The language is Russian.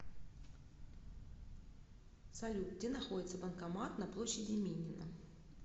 салют где находится банкомат на площади минина